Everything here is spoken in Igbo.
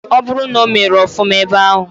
Oburu na omere ofuma ebe ahu.